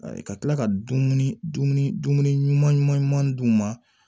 Ka tila ka dumuni dumuni ɲuman ɲuman ɲuman d'u ma